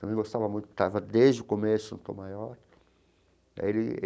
Também gostava muito, estava desde o começo no Tom Maior ele.